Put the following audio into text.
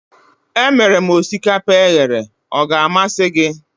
Emere m osikapa eghere, ọ ga-amasị gị?